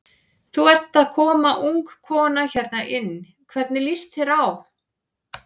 Þú ert að koma ung kona hérna inn, hvernig líst þér á?